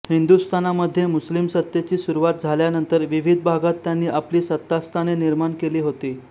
हिंदुस्थानामध्ये मुस्लिम सत्तेची सुरूवात झाल्यानंतर विविध भागांत त्यांनी आपली सत्तास्थाने निर्माण केली होती